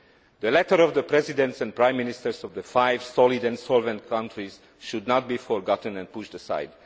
The letter from the Presidents and Prime Ministers of the five solid and solvent countries should not be forgotten and pushed aside.